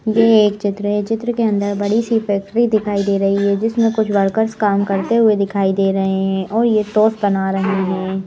ये एक चित्र है चित्र के अंदर बड़ी सी फैक्ट्री दिखाई दे रही है जिसमें कुछ वर्कर्स काम करते हुए दिखाई दे रहे हैं और ये टोस बना रहे हैं।